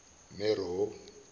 mero